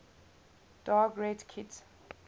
dark red kit